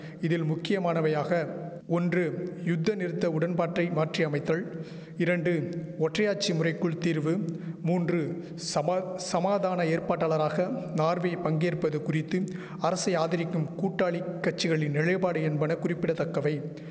இதில் முக்கியமானவையாக ஒன்று யுத்தநிறுத்த உடன்பாட்டை மாற்றி அமைத்தல் இரண்டு ஒற்றையாட்சி முறைக்குள் தீர்வு மூன்று சபா சமாதான ஏற்பட்டாளராக நார்வே பங்கேற்பது குறித்து அரசை ஆதரிக்கும் கூட்டாளிக் கட்சிகளின் நிலைபாடு என்பன குறிப்பிட தக்கவை